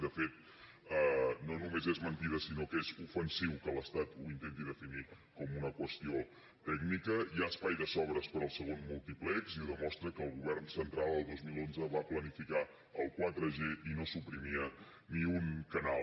de fet no només és mentida sinó que és ofensiu que l’estat ho intenti definir com una qüestió tècnica hi ha espai de sobres per al segon múltiplex i ho demostra que el govern central el dos mil onze va planificar el quatreg i no suprimia ni un canal